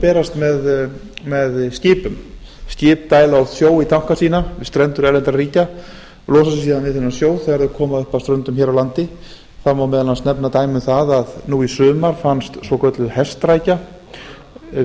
berast með skipum skip dæla út sjó í tanka sína við strendur erlendra ríkja losa sig síðan við þennan sjó þegar þau koma upp að ströndum hér á landi það má meðal annars nefna dæmi um það að nú í sumar fannst svokölluð hestrækja